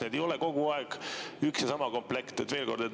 Need ei ole kogu aeg üks ja sama komplekt.